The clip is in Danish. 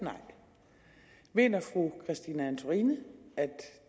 nej mener fru christine antorini at